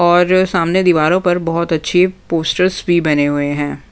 और सामने दीवारों पर बहुत अच्छी पोस्टर्स भी बने हुए हैं।